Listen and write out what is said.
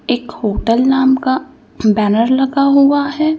एक होटल नाम का बैनर लगा हुआ है।